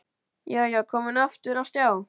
Já, já, komin aftur á stjá!